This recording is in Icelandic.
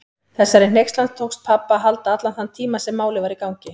Þessari hneykslan tókst pabba að halda allan þann tíma sem Málið var í gangi.